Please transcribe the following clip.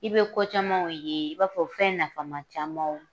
I be ko camanw ye i b'a fɔ fɛn nafama camanw.